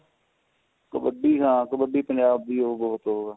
ਕਬੱਡੀ ਹਾਂ ਕਬੱਡੀ ਪੰਜਾਬ ਦੀ ਉਹ ਬਹੁਤ ਓ ਹੈ